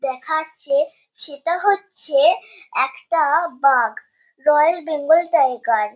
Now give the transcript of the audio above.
দেখাচ্ছে সেটা হচ্ছে একটা বাঘ রয়াল বেঙ্গল টাইগার ।